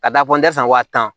Ka da fɔ n tɛ san wa tan